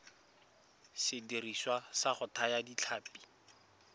sediriswa sa go thaya ditlhapi